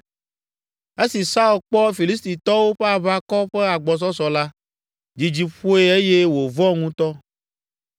Esi Saul kpɔ Filistitɔwo ƒe aʋakɔ ƒe agbɔsɔsɔ la, dzidzi ƒoe eye wòvɔ̃ ŋutɔ.